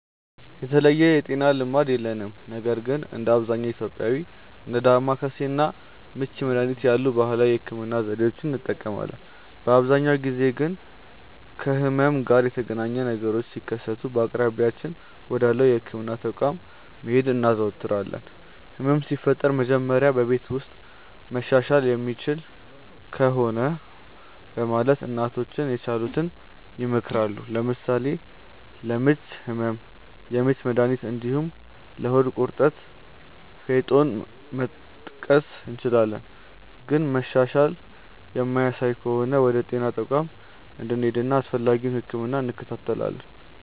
የተለየ የጤና ልማድ የለንም ነገር ግን እንደ አብዛኛው ኢትዮጵያዊ እንደ ዳማከሴ እና ምች መድሀኒት ያሉ ባህላዊ የህክምና ዘዴዎችን እንጠቀማለን። በአብዛኛው ጊዜ ግን ከህመም ጋር የተገናኘ ነገሮች ሲከሰቱ በአቅራቢያችን ወዳለው የህክምና ተቋም መሄድ እናዘወትራለን። ህመም ሲፈጠር መጀመሪያ በቤት ውስጥ መሻሻል የሚችል ከሆነ በማለት እናቶቻችን የቻሉትን ይሞክራሉ። ለምሳሌ ለምች ህመም የምች መድሀኒት እንዲሁም ለሆድ ቁርጠት ፌጦን መጥቀስ እንችላለን። ግን መሻሻል የማያሳዩ ከሆነ ወደ ጤና ተቋም እንሄድና አስፈላጊውን ህክምና እንከታተላለን።